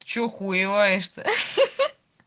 что хуевое что-то